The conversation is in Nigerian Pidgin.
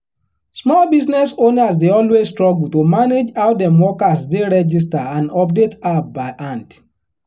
small business owners dey always struggle to manage how dem workers dey register and update app by hand.